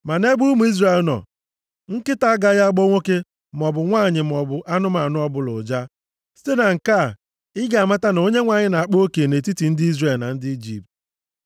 Ma nʼebe ụmụ Izrel nọ, nkịta agaghị agbọ nwoke maọbụ nwanyị maọbụ anụmanụ ọbụla ụja.’ Site na nke a, ị ga-amata na Onyenwe anyị na-akpa oke nʼetiti ndị Izrel na ndị Ijipt.